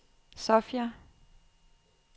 Sofia